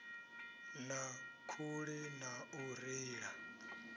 na khuli na u reila